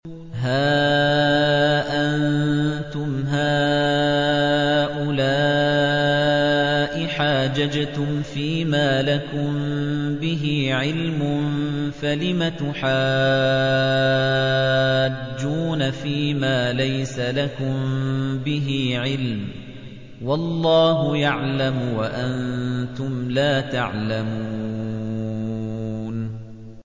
هَا أَنتُمْ هَٰؤُلَاءِ حَاجَجْتُمْ فِيمَا لَكُم بِهِ عِلْمٌ فَلِمَ تُحَاجُّونَ فِيمَا لَيْسَ لَكُم بِهِ عِلْمٌ ۚ وَاللَّهُ يَعْلَمُ وَأَنتُمْ لَا تَعْلَمُونَ